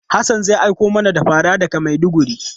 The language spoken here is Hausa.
Hassan zai aiko mana da fara daga Maiduguri.